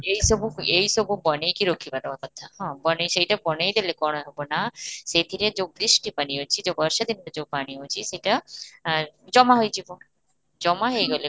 ଏଇ ସବୁ ଏଇ ସବୁ ବନେଇ କି ରଖିବା ଦେବା କଥା ହଁ, ବନେଇ ସେଇଟା ବନେଇ ଦେଲେ କ'ଣ ହେବ ନା ସେଥିରେ ଯଉ ଟି ପାଣି ଅଛି, ଯଉ ବର୍ଷା ଦିନର ଯଉ ପାଣି ଅଛି ସେଇଟା ଆଁ ଜମା ହୋଇଯିବ, ଜମା ହେଇଗଲେ